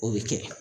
O bɛ kɛ